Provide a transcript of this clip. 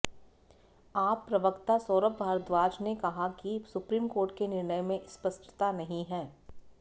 आप प्रवक्ता सौरभ भारद्वाज ने कहा कि सुप्रीम कोर्ट के निर्णय में स्पष्टता नहीं है